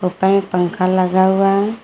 पंखा लगा हुआ है।